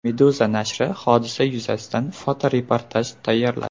Meduza nashri hodisa yuzasidan fotoreportaj tayyorladi .